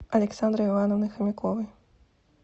александры ивановны хомяковой